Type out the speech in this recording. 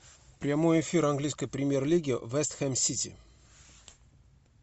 прямой эфир английской премьер лиги вест хэм сити